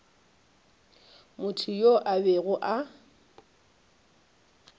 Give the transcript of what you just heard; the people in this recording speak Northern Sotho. motho yoo a bego a